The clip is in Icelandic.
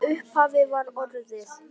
Í upphafi var orðið